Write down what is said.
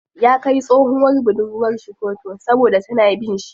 Ya kai tsohuwar budurwar shi koto saboda tana bin shi.